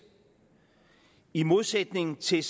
i modsætning til